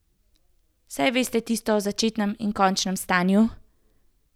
Saj veste tisto o začetnem in končnem stanju.